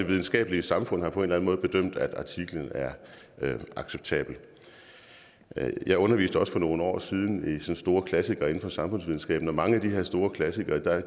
videnskabelige samfund har på en eller anden måde bedømt at artiklen er acceptabel jeg underviste også for nogle år siden i store klassikere inden for samfundsvidenskaben og mange af de her store klassikere